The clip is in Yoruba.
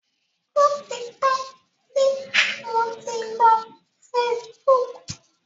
Ó ti pẹ́ tí mo ti lo Facebook.